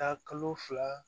Taa kalo fila